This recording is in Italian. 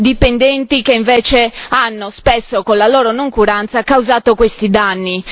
dipendenti che invece hanno spesso con la loro noncuranza causato questi danni.